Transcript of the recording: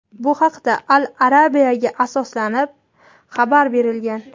Bu haqda "Al Arabia"ga asoslanib xabar berilgan.